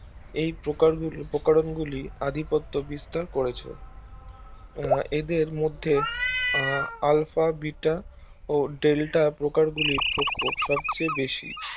এই প্রকরনগুলি আধিপত্য বিস্তার করেছে এদের মধ্যে আহ Alpha Bita Delta প্রকারগুলির প্রকট সবচেয়ে বেশি